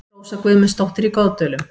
Rósa Guðmundsdóttir í Goðdölum